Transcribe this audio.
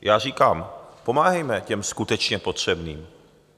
Já říkám, pomáhejme těm skutečně potřebným.